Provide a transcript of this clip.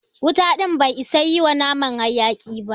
Wuta ɗin bai isa yi wa naman haƴaki ba.